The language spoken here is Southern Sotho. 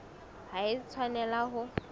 ha e a tshwanela ho